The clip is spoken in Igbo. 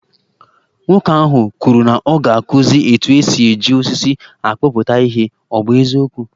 Nwoke ahụ kwuru na ọ ga-akụzi etu esi e ji osisi akpụpụta ihe, ọ bụ eziokwu?